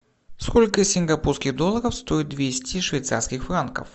сколько сингапурских долларов стоит двести швейцарских франков